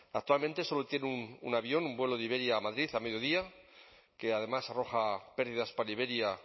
actualmente solo tiene un avión un vuelo de iberia a madrid a mediodía que además arroja pérdidas para iberia